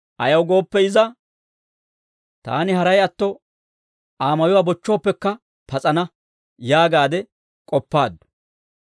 Ayaw gooppe iza, «Taani haray atto, Aa mayuwaa bochchooppekka pas'ana» yaagaade k'oppaaddu.